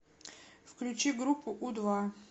включи группу у два